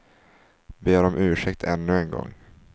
Ber om ursäkt ännu en gång.